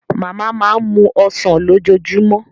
Màmá máa ń mu Ọsàn lójoojúmọ́